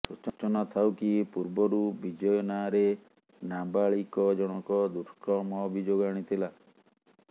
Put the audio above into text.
ସୂଚନାଥାଉ କି ପୂର୍ବରୁ ବିଜୟ ନାଁରେ ନାବାଳିକ ଜଣକ ଦୁଷ୍କର୍ମ ଅଭିଯୋଗ ଆଣିଥିଲା